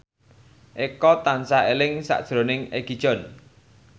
Eko tansah eling sakjroning Egi John